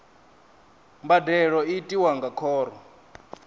mbadelo i tiwa nga khoro